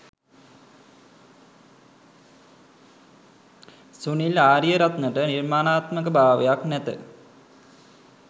සුනිල් ආරියරත්නට නිර්මාණාත්මකභාවයක් නැත.